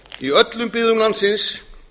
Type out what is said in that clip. í öllum byggðum landsins